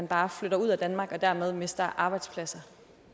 bare flytter ud af danmark og at vi dermed mister arbejdspladser